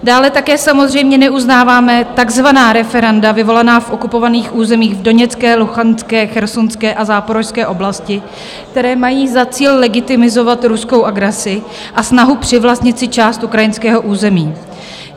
Dále také samozřejmě neuznáváme takzvaná referenda vyvolaná v okupovaných územích v Doněcké, Luhanské, Chersonské a Záporožské oblasti, která mají za cíl legitimizovat ruskou agresi a snahu přivlastnit si část ukrajinského území.